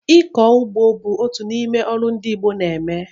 Ịkọ ugbo bụ otu n'ime ọrụ ndị Igbo na-eme